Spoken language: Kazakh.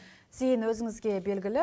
зейін өзіңізге белгілі биыл